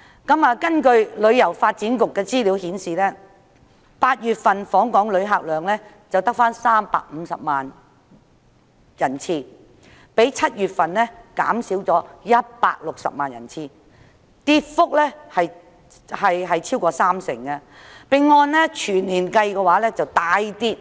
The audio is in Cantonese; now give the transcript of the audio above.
根據香港旅遊發展局的資料 ，8 月份的訪港旅客只有350萬人次，較7月份減少了160萬人次，跌幅超過三成，全年計則大跌